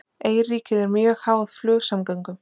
Eyríkið er mjög háð flugsamgöngum